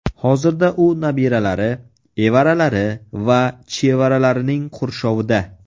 Hozirda u nabiralari, evaralari va chevaralarining qurshovida.